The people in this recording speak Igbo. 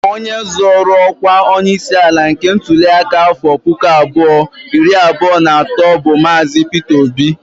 Onye zọrọ ọkwa onyeisi ala nke ntụli aka afọ pụkụ abụọ iri abụọ na atọ bụ Maazi. Pịta Obi